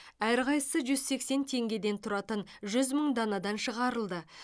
әрқайсысы жүз сексен теңгеден тұратын жүз мың данадан шығарылды